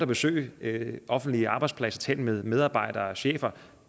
besøgt offentlige arbejdspladser og talt med medarbejdere og chefer og